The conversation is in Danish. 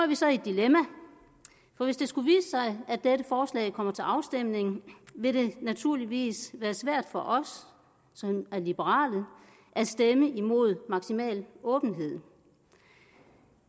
vi så i et dilemma for hvis det skulle vise sig at dette forslag kommer til afstemning vil det naturligvis være svært for os som er liberale at stemme imod maksimal åbenhed